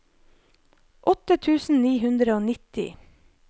åtte tusen ni hundre og nitti